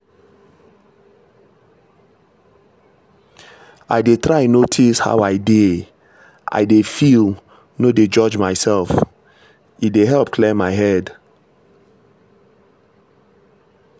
i dey try notice how i dey i dey feel no dey judge myself — e dey help clear my head.